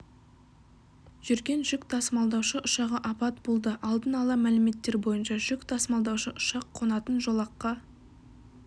жүрген жүк тасымалдаушы ұшағы апат болды алдын ала мәліметтер бойынша жүк тасымалдаушы ұшақ қонатын жолаққа